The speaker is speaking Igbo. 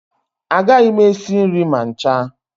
Agaghị m esi nri ma ncha